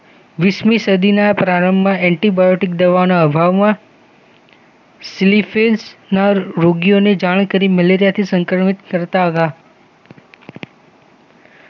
વીસમી સદીના પ્રારંભમાં એન્ટીબાયોટિક દવાના અભાવમાં સિલિફિન્સના રોગીઓને જાણ કરી મલેરિયાથી સંક્રમિત કરતા